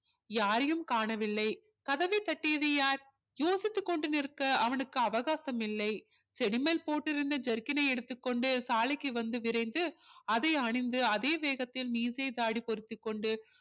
யாரையும் காணவில்லை கதவை தட்டியது யார் போசித்து கொண்டு நிற்க அவனுக்கு அவகாசம் இல்லை செடி மேல் போட்டு இருந்த jerkin னை எடுத்துக்கொண்டு சாலைக்கு வந்து விரைந்து அதை அணிந்து அதே வேகத்தில மீசை தாடி பொருத்திக் கொண்டு